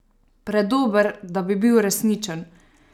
Predober, da bi bil resničen?